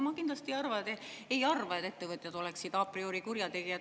Ma kindlasti ei arva, et ettevõtjad oleksid a priori kurjategijad.